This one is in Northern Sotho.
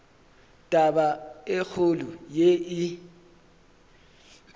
taba e kgolo ye e